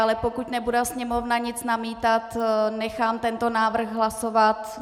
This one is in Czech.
Ale pokud nebude Sněmovna nic namítat, nechám tento návrh hlasovat.